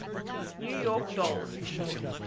new york dollst